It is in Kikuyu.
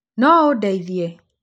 No ũndeithie?